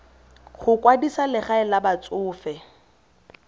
go kwadisa legae la batsofe